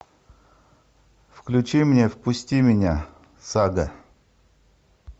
включи мне впусти меня сага